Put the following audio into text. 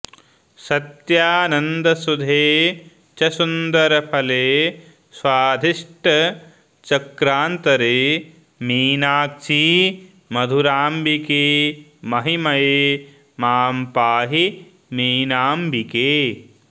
सत्यानन्दसुधे च सुन्दरफले स्वाधिष्ठचक्रान्तरे मीनाक्षि मधुराम्बिके महिमये मां पाहि मीनाम्बिके